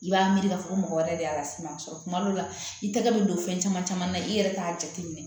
I b'a miiri k'a fɔ ko mɔgɔ wɛrɛ de y'a sɛbɛn tuma dɔw la i tɛgɛ bɛ don fɛn caman caman na i yɛrɛ t'a jate minɛ